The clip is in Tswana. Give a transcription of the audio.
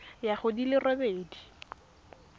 ya go di le robedi